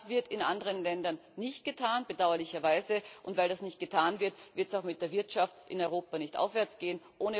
Das wird in anderen Ländern nicht getan bedauerlicherweise und weil das nicht getan wird, wird es auch mit der Wirtschaft in Europa nicht aufwärts gehen.